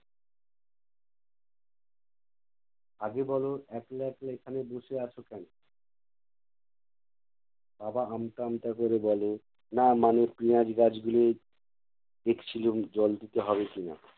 আগে বলো একলা একলা এখানে বসে আছো কেনো? বাবা আমতা আমতা করে বলে, না মানে পেঁয়াজ গাছগুলোয় দেখছিলুম জল দিতে হবে কি-না